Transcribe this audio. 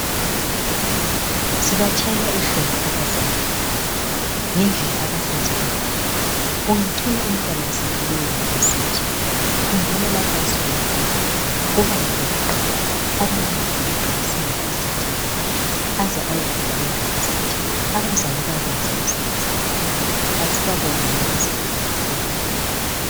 Sibatshayela ihlombe abazali ngendlela abasenzela ngayo. Ungathola umntwana sefika eUniversity, khumbula lapho asuke khona kubanga lokuqala. Abanengi sebeqalisela ku ECD-A aze ayofika eUniversity. Abazali bayabe benze umsebenzi omkhulu, asibabongeni abazali bethu singabakhohlwa.